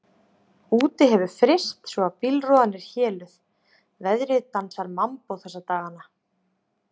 Úti hefur fryst svo að bílrúðan er héluð, veðrið dansar mambó þessa dagana.